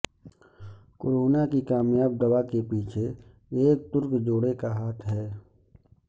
corona کی کامیاب دوا کے پیچھے ایک ترک جوڑے کا ہاتھ ہے